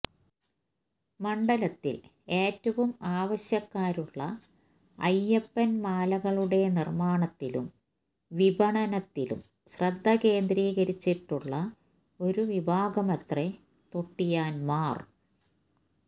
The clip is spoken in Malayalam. മണ്ഡലത്തിൽ ഏറെ ആവശ്യക്കാരുളള അയ്യപ്പൻമാലകളുടെ നിർമ്മാണത്തിലും വിപണനത്തിലും ശ്രദ്ധ കേന്ദ്രീകരിച്ചിട്ടുളള ഒരു വിഭാഗമത്രേ തൊട്ടിയാൻമാർ